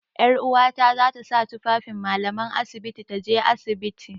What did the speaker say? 'Yaruwata za ta sa tufafin mallaman asibiti ta je asibiti.